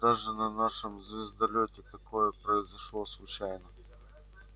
даже на нашем звездолёте такое произошло случайно